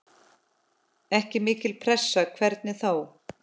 Ekki mikil pressa, hvernig þá?